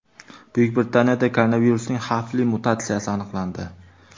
Buyuk Britaniyada koronavirusning xavfli mutatsiyasi aniqlandi.